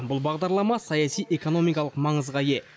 бұл бағдарлама саяси экономикалық маңызға ие